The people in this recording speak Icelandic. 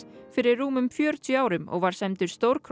fyrir rúmum fjörutíu árum og var sæmdur